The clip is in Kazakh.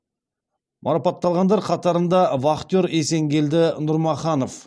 марапатталғандар қатарында вахтер есенгелді нұрмаханов